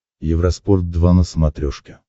евроспорт два на смотрешке